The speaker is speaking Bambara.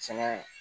Sɛnɛ